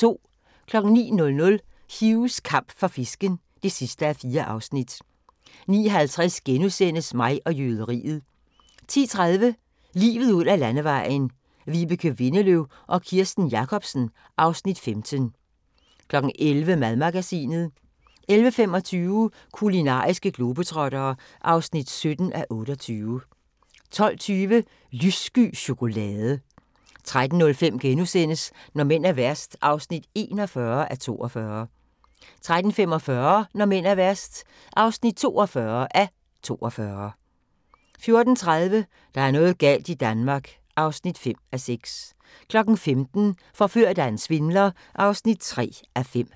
09:00: Hughs kamp for fisken (4:4) 09:50: Mig og jøderiet * 10:30: Livet ud ad Landevejen: Vibeke Windeløw og Kirsten Jacobsen (Afs. 15) 11:00: Madmagasinet 11:25: Kulinariske globetrottere (17:28) 12:20: Lyssky chokolade 13:05: Når mænd er værst (41:42)* 13:45: Når mænd er værst (42:42) 14:30: Der er noget galt i Danmark (5:6) 15:00: Forført af en svindler (3:5)